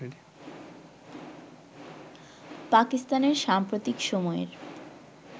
পাকিস্তানের সাম্প্রতিক সময়ের